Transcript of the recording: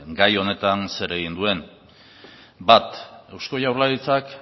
gai honetan zer egin duen bat eusko jaurlaritzak